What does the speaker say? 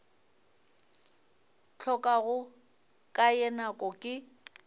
hlokago ka ye nako ke